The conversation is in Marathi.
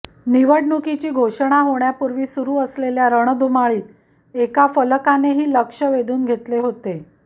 निवडणुकीची घोषणा होण्यापूर्वी सुरू असलेल्या रणधुमाळीत एका फलकानेही लक्ष वेधून घेतले होते